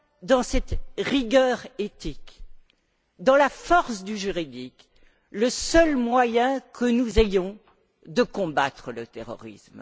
dans cette rigueur éthique, dans la force du juridique, le seul moyen que nous ayons de combattre le terrorisme.